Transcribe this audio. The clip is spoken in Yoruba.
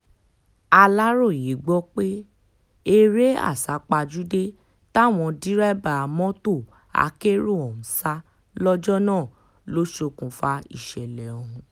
aláròye gbọ́ pé eré àsápajúdé táwọn dẹ́rẹ́bà mọ́tò akérò ọ̀hún ń sá lọ́jọ́ náà ló ṣokùnfà ìṣẹ̀lẹ̀ ọ̀hún